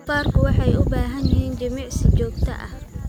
Doofaarku waxay u baahan yihiin jimicsi joogto ah.